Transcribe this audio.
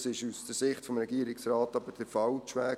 Das ist aus Sicht des Regierungsrates aber der falsche Weg.